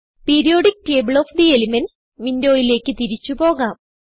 periodic table of the elements വിൻഡോയിലേക്ക് തിരിച്ചു പോകാം